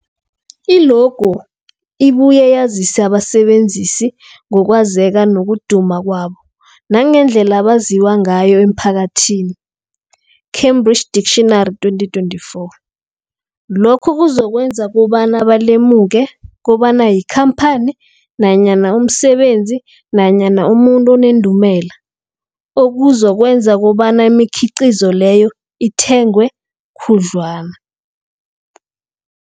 I-logo ibuye yazise abasebenzisi ngokwazeka nokuduma kwabo nangendlela abaziwa ngayo emphakathini, Cambridge Dictionary 2024. Lokho kuzokwenza kobana balemuke kobana yikhamphani nanyana umsebenzi nanyana umuntu onendumela, okuzokwenza kobana imikhiqhizo leyo ithengwe khudlwana.